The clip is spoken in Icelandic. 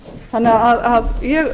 þannig að ég